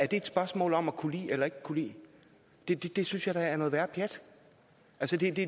et spørgsmål om at kunne lide eller ikke kunne lide det det synes jeg da er noget værre pjat